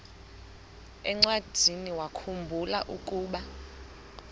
encwadiniwakhu mbula ukuba